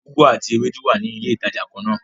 Ugwu àti Ewédú wá ní ilé ìtàjà kànnà.